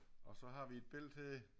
Og så har vi et billede her